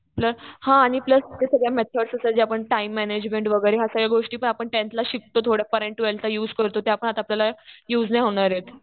Plus हा आणि plus तिथे सगळ्या मेथड्स असतात. जे आपण टाइम मॅनेजमेंट वगैरे ह्या सगळ्या गोष्टी पण आपण टेंथला शिकतो थोडंफार आणि त्या ट्वेल्थला युज करतो. त्या पण आपल्याला युज नाही होणार आहेत.